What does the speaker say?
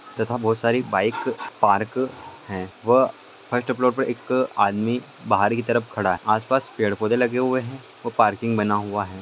--तथा बहुत सारी बाइक पार्क है वह फर्स्ट फ्लोर पे एक आदमी बाहर की तरफ खड़ा है आस पास पेड़ पौधे लगे हुए है और पार्किंग बना हुआ है।